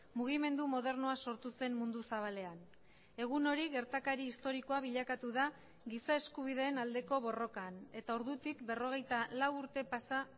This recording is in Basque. mugimendu modernoa sortu zen mundu zabalean egun hori gertakari historikoa bilakatu da giza eskubideen aldeko borrokan eta ordutik berrogeita lau urte pasa